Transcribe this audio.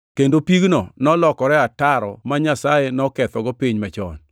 Kendo pigno nolokore ataro ma Nyasaye nokethego piny machon.